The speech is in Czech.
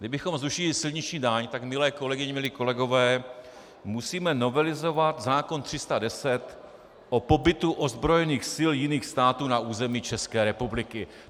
Kdybychom zrušili silniční daň, tak milé kolegyně, milí kolegové, musíme novelizovat zákon 310 o pobytu ozbrojených sil jiných států na území České republiky.